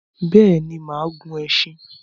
Béèni, máà gun esin